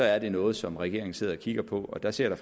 er det noget som regeringen sidder og kigger på og der ser jeg